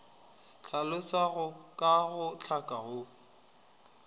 hlalosago ka go hlaka go